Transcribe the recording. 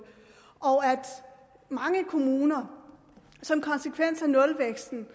og at mange kommuner som konsekvens af nulvæksten